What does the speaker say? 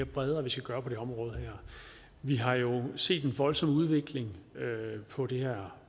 bredere vi skal gøre på det område her vi har jo set en voldsom udvikling på det her